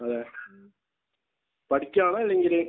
അതെയോ. പഠിക്കുകയാണോ അല്ലെങ്കിൽ?